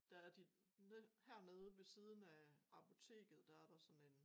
Der er de hernede ved siden af apoteket der er der sådan en